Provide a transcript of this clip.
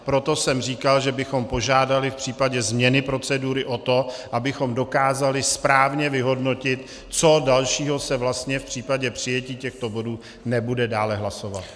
Proto jsem říkal, že bychom požádali v případě změny procedury o to, abychom dokázali správně vyhodnotit, co dalšího se vlastně v případě přijetí těchto bodů nebude dále hlasovat.